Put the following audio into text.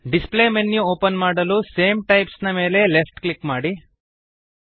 display menu open ಮಾಡಲು same types ನ ಮೇಲೆ ಲೆಫ್ಟ್ ಕ್ಲಿಕ್ ಮಾಡಿರಿ